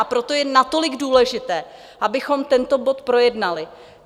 A proto je natolik důležité, abychom tento bod projednali.